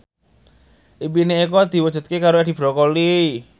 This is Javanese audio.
impine Eko diwujudke karo Edi Brokoli